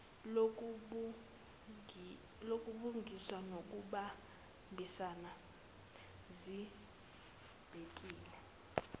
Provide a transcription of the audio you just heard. lobulungiswa nokubambisana zibhekele